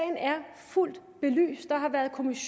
ole